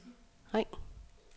ring